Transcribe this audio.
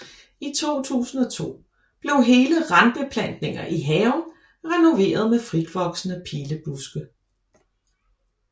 I 2002 blev hele randbeplantninger i haven renoveret med fritvoksende pilebuske